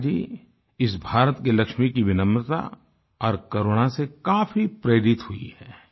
मेघा जी इस भारत की लक्ष्मी की विनम्रता और करुणा से काफी प्रेरित हुई हैं